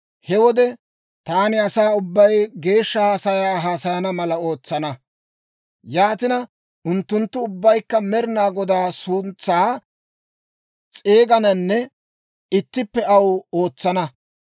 «He wode taani asaa ubbay geeshsha haasayaa haasayana mala ootsana; yaatina, unttunttu ubbaykka Med'inaa Godaa suntsaa s'eegananne ittippe aw ootsana.